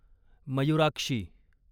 Mayurakshi